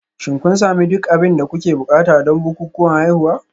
Shin kun sami duk abin da kuke buƙata don bukukuwan haihuwa?